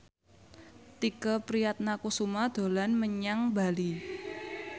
Tike Priatnakusuma dolan menyang Bali